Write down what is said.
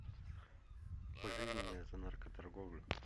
пожизненное за наркоторговлю